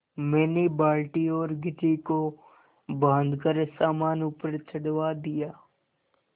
मैंने बाल्टी और घिर्री को बाँधकर सामान ऊपर चढ़वा दिया